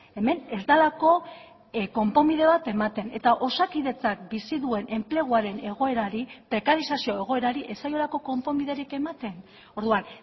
hemen ez delako konponbide bat ematen eta osakidetzak bizi duen enpleguaren egoerari prekarizazio egoerari ez zaiolako konponbiderik ematen orduan